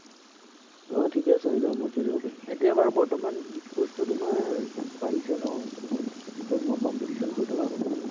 আহ ঠিকেই আছে হৈ যাব। মই খেলিব পাৰিম। এতিয়া বাৰু বৰ্তমান e-sports টো তোমাৰ বাঢ়িছে ন? খুব মই competition হৈ থকা শুনিছো।